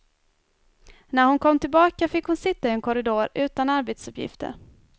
När hon kom tillbaka fick hon sitta i en korridor utan arbetsuppgifter.